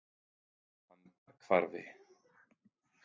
Andarhvarfi